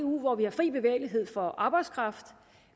eu hvor vi har fri bevægelighed for arbejdskraft